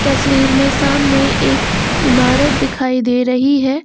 तस्वीर में सामने एक इमारत दिखाई दे रही है।